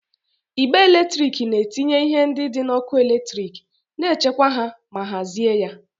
Igbe eletrik na-etinye ihe ndị dị n'ọkụ eletrik, na-echekwa ha ma hazie ya.